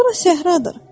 Bura səhradır.